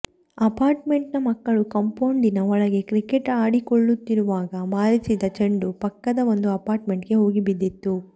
apart made ಮಕ್ಕಳು ಕಾಂಪೌಡಿನ ಒಳಗೆ ಕ್ರಿಕೆಟ್ ಆಡಿಕೊಳ್ಳುತ್ತಿರುವಾಗ ಬಾರಿಸಿದ ಚೆಂಡು ಪಕ್ಕದ ಒಂದು ಅಪಾರ್ಟ್ ಗೆ ಹೋಗಿ ಬಿದ್ದಿತು